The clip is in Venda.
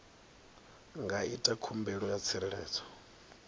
nga ita khumbelo ya tsireledzo